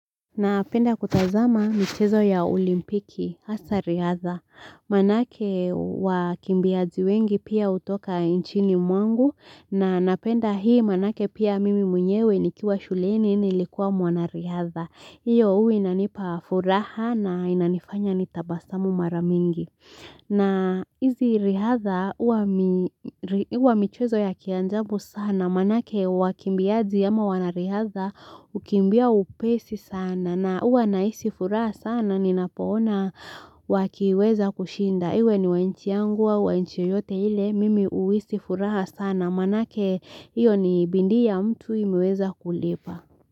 Napenda kutazama michezo ya olimpiki hasa riadha, manake wakimbiaji wengi pia hutoka nchini mwangu, na napenda hii manake pia mimi mwenyewe nikiwa shuleni nilikuwa mwanariadha, hiyo huwa inanipa furaha na inanifanya ni tabasamu mara mingi na hizi riadhaa huwa michezo ya kiajabu sana manake wakimbiaji ama wanariadhaa hukimbia upesi sana na huwa nahisi furaha sana ninapoona wakiweza kushinda iwe ni wa nchi yangu wa nchi yoyote ile mimi huhisi furaha sana manake iyo ni bidii ya mtu imeweza kulipa.